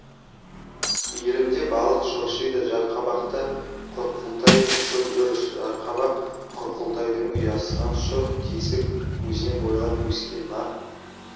иірімде балық шоршиды жарқабақта құрқылтай ұшып жүр жарқабақ құрқылтайдың ұясынан шұрқ тесік өзен бойлап өскен нар